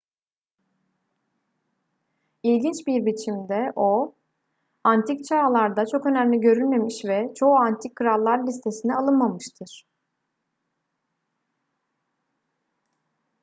i̇lginç bir biçimde o antik çağlarda çok önemli görülmemiş ve çoğu antik krallar listesine alınmamıştır